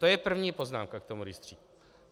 To je první poznámka k tomu rejstříku.